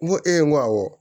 N ko e n ko awɔ